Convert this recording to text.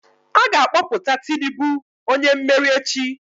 A ga-akpọpụta Tinubu onye mmeri echi